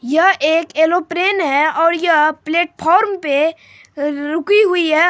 यह एक एरोप्लेन है और यह प्लेटफार्म पे रुकी हुई है।